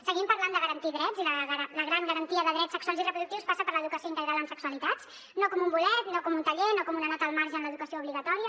seguim parlant de garantir drets i la gran garantia de drets sexuals i reproductius passa per l’educació integral en sexualitats no com un bolet no com un taller no com una nota al marge en l’educació obligatòria